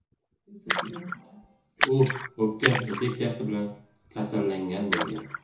U o‘pka infeksiyasi bilan kasallangan bo‘lgan.